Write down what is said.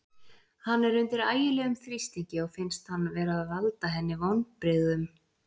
Hann er undir ægilegum þrýstingi og finnst hann vera að valda henni vonbrigðum.